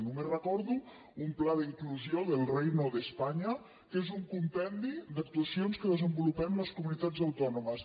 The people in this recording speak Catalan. només recordo un pla d’inclusió del reino de españa que és un compendi d’actuacions que desenvolupem les comunitats autònomes